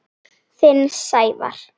Þinn, Sævar.